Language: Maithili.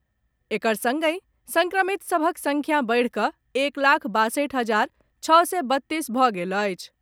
एकर संगहि संक्रमित सभक संख्या बढ़ि कऽ एक लाख बासठि हजार छओ सय बत्तीस भऽ गेल अछि।